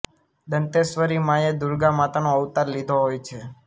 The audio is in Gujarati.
દંતેશ્વરી માંએ દુર્ગા માતાનો અવતાર લીધો હોય છે